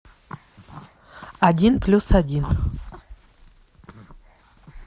один плюс один